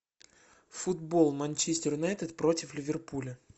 футбол манчестер юнайтед против ливерпуля